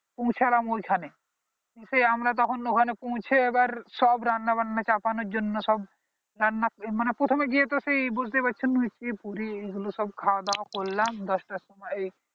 পৌঁছলাম ওইখানে সেই আমরা তখন ওইখানে পৌঁছে এইবার সব রান্না বান্না চাপানোর জন্য সব রান্না মানে প্রথমে গিয়ে তো সেই বুঝতে পারছো লুচি পুরি এই গুলো সব খাওয়া দাওয়া করলাম দশ টার সময়ে